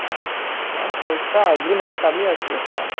ହଁ ପଇସା ନାହିଁ କଲି ଆସିବ କଣ